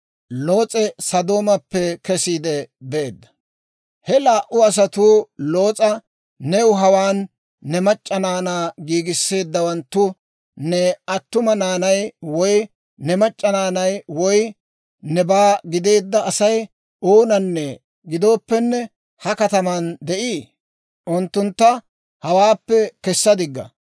He laa"u asatuu Loos'a, «New hawaan ne mac'c'a naanaa giigisseeddawanttu, ne attuma naanay woy ne mac'c'a naanay woy nebaa gideedda Asay oona gidooppene ha katamaan de'ii? Unttuntta hawaappe kessa digga.